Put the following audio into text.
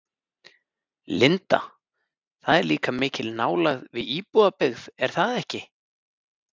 Linda: Það er líka mikil nálægð við íbúabyggð er það ekki?